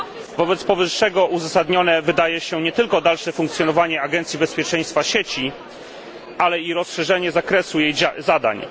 Wobec powyższego uzasadnione wydaje się nie tylko dalsze funkcjonowanie agencji bezpieczeństwa sieci, ale i rozszerzenie zakresu jej zadań.